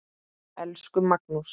Elsku Magnús.